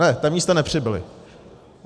Ne, ta místa nepřibyla.